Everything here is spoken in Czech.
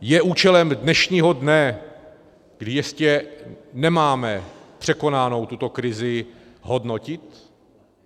Je účelem dnešního dne, kdy ještě nemáme překonanou tuto krizi, hodnotit?